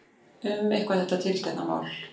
Um eitthvað þetta tiltekna mál.